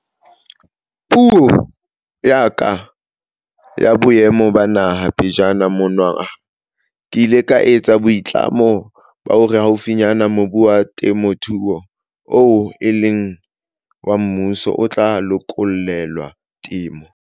Puong ya ka ya Boemo ba Naha pejana monongwaha ke ile ka etsa boitlamo ba hore haufinyane mobu wa temothuo oo e leng wa mmuso o tla lokollelwa temo.